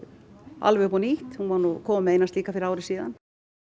alveg upp á nýtt hún var nú komin með eina slíka fyrir ári síðan